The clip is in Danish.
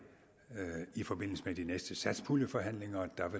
i forbindelse med de næste satspuljeforhandlinger